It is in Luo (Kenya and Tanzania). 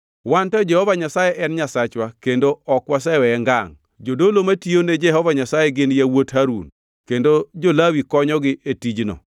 “Wan to Jehova Nyasaye en Nyasachwa kendo ok waseweye ngangʼ. Jodolo matiyone Jehova Nyasaye gin yawuot Harun kendo jo-Lawi konyogi e tijno.